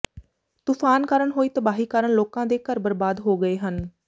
ਤੂਫਾਨ ਕਾਰਨ ਹੋਈ ਤਬਾਹੀ ਕਾਰਨ ਲੋਕਾਂ ਦੇ ਘਰ ਬਰਬਾਦ ਹੋ ਗਏ ਹਨ